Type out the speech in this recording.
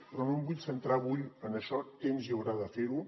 però no em vull centrar avui en això temps hi haurà de fer ho